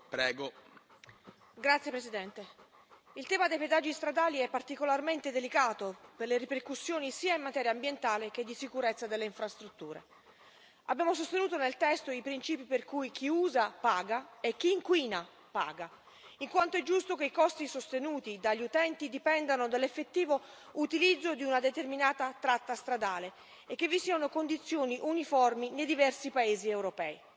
Signor Presidente, onorevoli colleghi, il tema dei pedaggi stradali è particolarmente delicato per le ripercussioni sia in materia ambientale che di sicurezza delle infrastrutture. Abbiamo sostenuto nel testo i principi per cui chi usa paga e chi inquina paga, in quanto è giusto che i costi sostenuti dagli utenti dipendano dall'effettivo utilizzo di una determinata tratta stradale e che vi siano condizioni uniformi nei diversi paesi europei.